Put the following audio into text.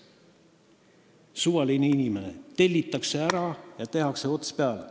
Kui suvalise inimese kohta tehakse tellimus, siis tehakse talle ots peale.